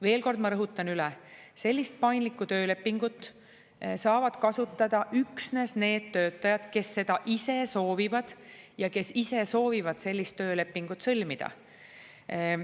Veel kord ma rõhutan: sellist paindlikku töölepingut saavad kasutada üksnes need töötajad, kes seda ise soovivad ja kes ise soovivad sellist töölepingut sõlmida.